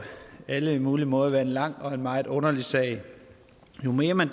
alle mulige måder har været en lang og en meget underlig sag jo mere man